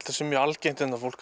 það sé mjög algengt að fólk